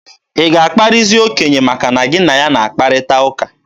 Ị ga-akparịzi okenye maka na gị na ya na-akparịta ụka?